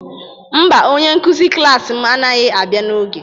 Mba, onye nkụzi klas m anaghị abịa n'oge